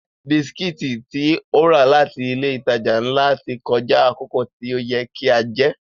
Bisikítì tí ó rà láti ilé ìtajà ńlá ti kọjá àkókò tí ó yẹ kí a jẹ́